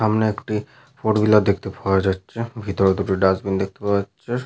সামনে একটি four wheeler দেখতে পাওয়া যাচ্ছে। ভিতরে দুটি ডাস্টবিন দেখতে পাওয়া যাচ্ছে।